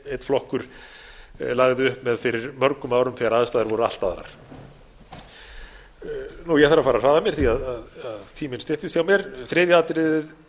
einn flokkur lagði upp með fyrir mörgum árum þegar aðstæður voru allt aðrar ég þarf að fara að hraða mér því tíminn styttist hjá mér þriðja atriðið